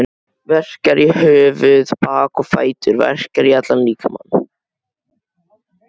Verkjar í höfuð, bak og fætur, verkjar í allan líkamann.